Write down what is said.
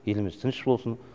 еліміз тыныш болсын